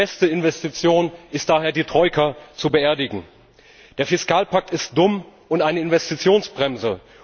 Die beste Investition ist daher, die Troika zu beerdigen. Der Fiskalpakt ist dumm und eine Investitionsbremse.